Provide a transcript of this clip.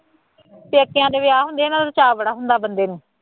ਪੇਕਿਆ ਦੇ ਵਿਆਹ ਹੁੰਦੇ ਆ ਨਾ ਤਾਂ ਚਾਅ ਬੜਾ ਹੁੰਦਾ ਬੰਦੇ ਨੂੰ